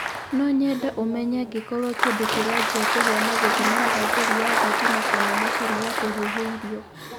no nyende ũmenye angĩkorwo kindũ kĩranjia kũhia na gũthima thagĩri ya thitima kana macĩnĩ ya kũhiũhia irio